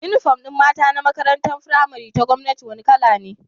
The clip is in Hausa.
Inufom din mata na makarantar pramari ta gwamnati wani kala ne